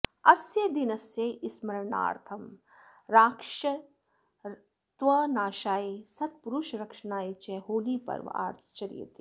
अस्य दिनस्य स्मरणार्थं राक्षसत्वनाशाय सत्पुरुषरक्षणाय च होलीपर्व आचर्यते